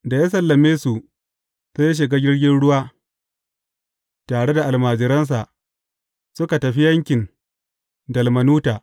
Da ya sallame su, sai ya shiga jirgin ruwa tare da almajiransa, suka tafi yankin Dalmanuta.